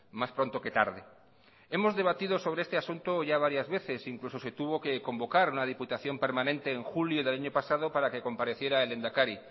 más pronto que tarde hemos debatido sobre este asunto ya varias veces incluso se tuvo que convocar una diputación permanente en julio del año pasado para que compareciera el lehendakari